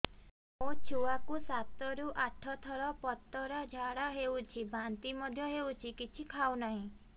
ମୋ ଛୁଆ କୁ ସାତ ରୁ ଆଠ ଥର ପତଳା ଝାଡା ହେଉଛି ବାନ୍ତି ମଧ୍ୟ୍ୟ ହେଉଛି କିଛି ଖାଉ ନାହିଁ